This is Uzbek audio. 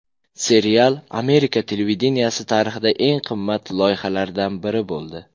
Serial Amerika televideniyesi tarixidagi eng qimmat loyihalardan biri bo‘ldi.